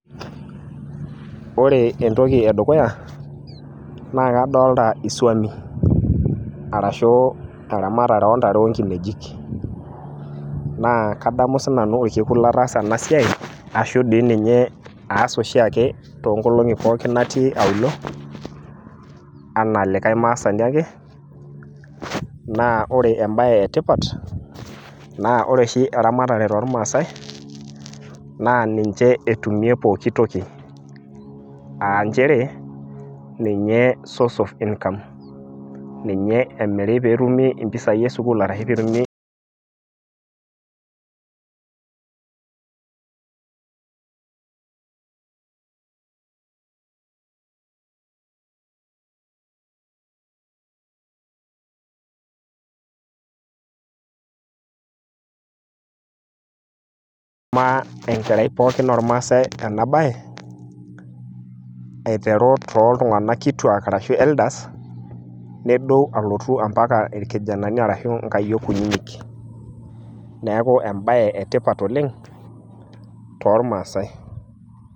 Ore entoki edukuyta naa kadolita iswami arashu teramatare oontare enkinejik naa kadamu sinanu orkekun lataasa ena siai ash doi ninye aas oshiake toonkolong'i pookin natii auluo enaa likai maasani ake naa ore embaye etipat naa ore oshi eramtare tormaasai naa ninche etumie pookin toki aa nchere ninye source of income ninye emiri pee etumi impisai esukuul arashu pee etumi enkerai pooki ormaasai ena baye aiteru toltung'anak kituuak arashu elders nedou alotu mpaka irkijanani arashu nkayiok kunyinyik, neeku embaye etipat oleng' tormaasai.